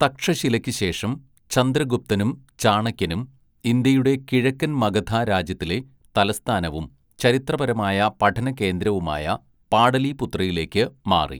തക്ഷശിലയ്ക്ക് ശേഷം ചന്ദ്രഗുപ്തനും ചാണക്യനും ഇന്ത്യയുടെ കിഴക്കൻ മഗധ രാജ്യത്തിലെ തലസ്ഥാനവും ചരിത്രപരമായ പഠന കേന്ദ്രവുമായ പാടലീപുത്രയിലേക്ക് മാറി.